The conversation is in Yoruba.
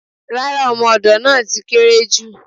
Rárá, ọmọ-odo náà ti kéré jù.